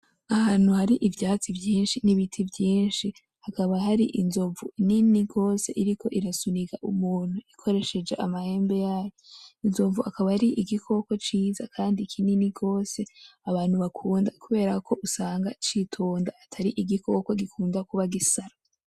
Ahantu hari ivyatsi vyishi n'ibiti vyishi hakaba hari inzovu nini gose iriko irasunika umuntu ikoresheje amahembe yayo ,Inzovu akaba ari igikoko ciza kandi kinini gose abantu bakunda kubera ko usanga citonda atari igikoko gikunda kuba gisara